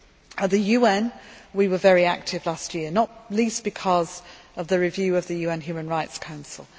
At the UN we were very active last year, not least because of the review of the UN Human Rights Council.